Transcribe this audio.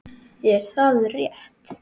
Er það rétt??